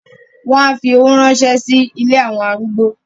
wọn á fi owó ránṣẹ́ sí “ ilé àwọn arúgbó ”.